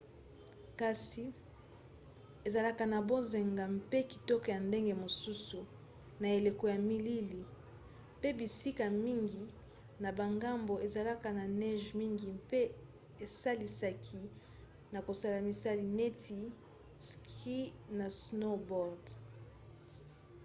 kasi ezalaka na bonzenga mpe kitoko ya ndenge mosusu na eleko ya malili pe bisika mingi na bangomba ezalaka na neige mingi mpe esalisaka na kosala misala neti ski na snowboard